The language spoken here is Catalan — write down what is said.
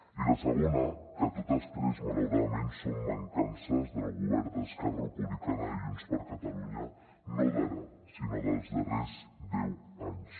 i la segona que totes tres malauradament són mancances del govern d’esquerra republicana i junts per catalunya no d’ara sinó dels darrers deu anys